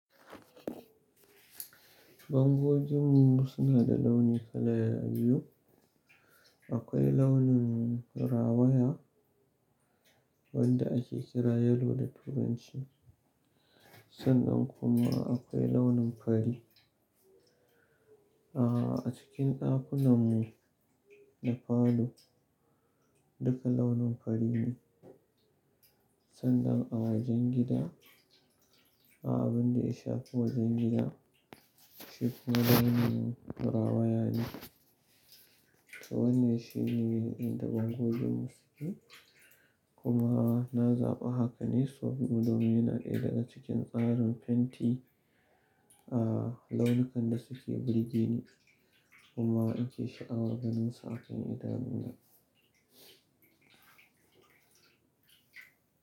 Bangojin mu suna da launi kala biyu. Akwai launin rawaya wanda ake kira yelo da turanci sannan kuma akwai launin fari. A'a a cikin ɗakunan mu da falo duka launin fari ne sannan a wajen gida, a'a abun da ya shafi wajen gida shi kuma launin rawaya ne. To wannan shine inda bangojin mu suke kuma na zaba haka ne saboda mu domin yana ɗaya daga cikin tsarin fenti a launukan da suke burge ni kuma ake sha'awa ganin su a kan idanuna.